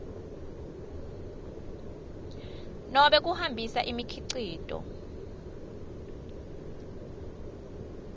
nobe kuhambisa imikhicito